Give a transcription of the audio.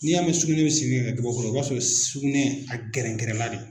Ni y'a mɛn sugunɛ bɛ simi ka kɛ gabakuru ye o b'a sɔrɔ sugunɛ a gɛrɛngɛrɛnla de.